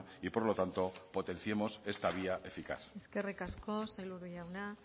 y por lo tanto potenciemos esta vía eficaz eskerrik asko sailburu jauna